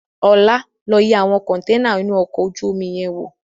Ọlá, lọ yẹ àwọn kọntẹ́ẹ́nà inú ọkọ̀ ojú omi yẹn wò!